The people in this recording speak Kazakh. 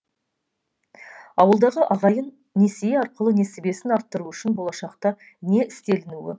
ауылдағы ағайын несие арқылы несібесін арттыру үшін болашақта не істелінуі қажет